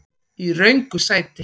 Í röngu sæti.